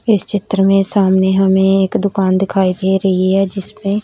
इस चित्र में सामने हमें एक दुकान दिखाई दे रही है जिसमें--